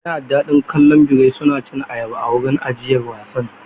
Yana da daɗi kallon birai suna cin ayaba a wurin ajiyar wasan.